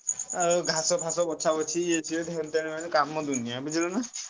ଆଉ ଘାସ ଫାସ ବଛାବଛି ଏନତେନ ଇଏସିଏ କାମ ଦୁନିଆ ବୁଝିଲ ନାଁ?